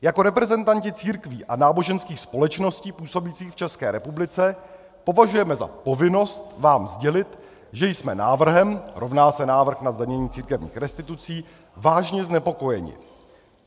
"Jako reprezentanti církví a náboženských společností působících v České republice považujeme za povinnost vám sdělit, že jsme návrhem" - rovná se návrh na zdanění církevních institucí - "vážně znepokojeni.